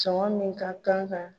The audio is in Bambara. Cɔngɔn min ka kan ka